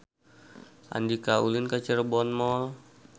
Andika ulin ka Cirebon Mall